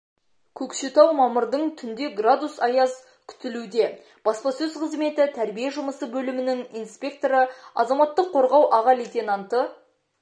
көкшетау мамырдың түнде градус аяз күтілуде баспасөз қызметі тәрбие жұмысы бөлімінің инспекторы азаматтық қорғау аға лейтенанты